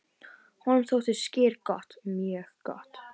"""Honum þótti skyr gott, mjög gott."""